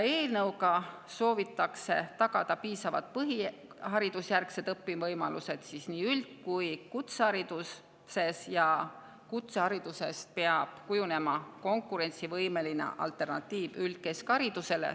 Eelnõuga soovitakse tagada piisavad põhiharidusjärgsed õpivõimalused nii üld‑ kui ka kutsehariduses ja kutseharidusest peab kujunema konkurentsivõimeline alternatiiv üldkeskharidusele.